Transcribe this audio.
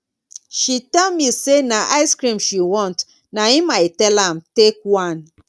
she tell me say na icecream she want na im i tell am take one